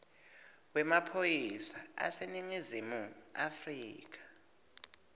wemaphoyisa aseningizimu afrika